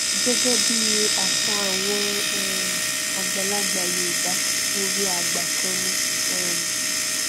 gẹgẹ bí àṣà àwọn um àgbàlagbà yorùbá òwe àgbà kan ni um